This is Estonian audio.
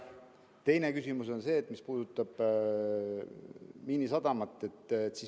Teine küsimus on see, mis puudutab Miinisadamat.